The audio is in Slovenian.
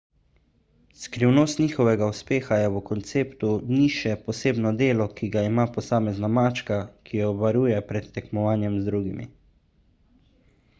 skrivnost njihovega uspeha je v konceptu niše posebno delo ki ga ima posamezna mačka ki jo varuje pred tekmovanjem z drugimi